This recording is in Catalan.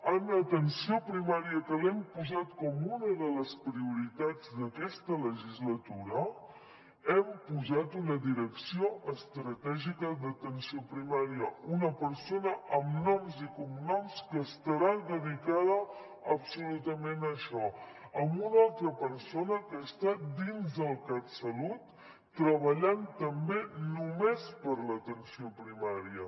en atenció primària que l’hem posat com una de les prioritats d’aquesta legislatura hem posat una direcció estratègica d’atenció primària una persona amb noms i cognoms que estarà dedicada absolutament a això amb una altra persona que està dins del catsalut treballant també només per a l’atenció primària